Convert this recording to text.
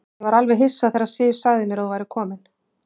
Ég var alveg hissa þegar Sif sagði mér að þú værir kominn.